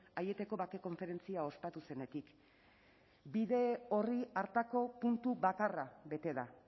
aieteko bake konferentzia ospatu zenetik bide orri hartako puntu bakarra bete da